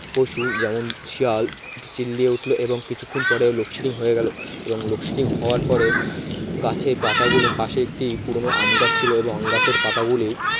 পশু যেমন শিয়াল চিল্লিয়ে উঠলো এবং কিছুক্ষণ পরে load shedding হয়ে গেল এবং load shedding হওয়ার পরে গাছের পাতাগুলো পাশে একটি পুরনো আম গাছ ছিল এবং আম গাছের পাতা গুলি